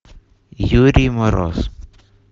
юрий мороз